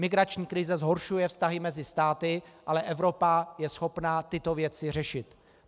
Migrační krize zhoršuje vztahy mezi státy, ale Evropa je schopna tyto věci řešit.